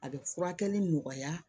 A bɛ furakɛli nɔgɔya